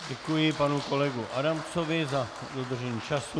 Děkuji panu kolegovi Adamcovi za dodržení času.